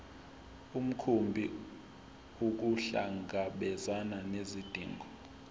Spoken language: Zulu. mkhumbi ukuhlangabezana nezidingo